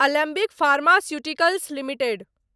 Alembic pharmaceuticals limited